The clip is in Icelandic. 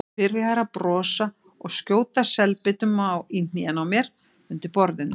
Byrjaður að brosa og skjóta selbitum í hnén á mér undir borðinu.